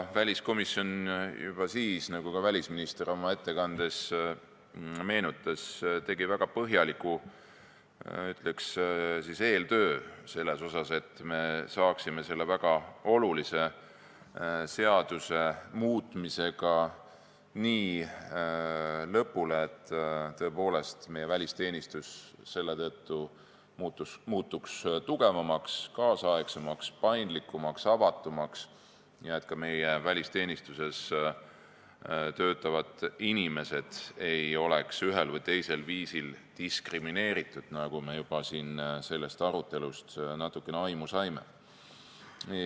Väliskomisjon tegi juba siis, nagu ka välisminister oma ettekandes meenutas, väga põhjaliku eeltöö, et me saaksime selle väga olulise seaduse muutmisega lõpule, et tõepoolest meie välisteenistus selle tõttu muutuks tugevamaks, nüüdisaegsemaks, paindlikumaks, avatumaks, nii et ka meie välisteenistuses töötavad inimesed ei oleks ühel või teisel viisil diskrimineeritud, nagu me juba siin sellest arutelust natukene aimu saime.